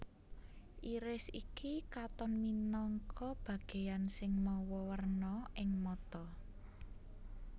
Iris iki katon minangka bagéan sing mawa warna ing mata